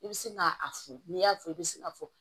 I bɛ se ka a furu n'i y'a fɔ i bɛ se ka fɔ